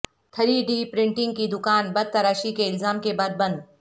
three D printing کی دکان بت تراشی کے الزام کے بعد بند